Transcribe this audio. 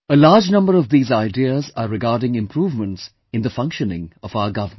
A large number of these ideas are regarding improvements in the functioning of our government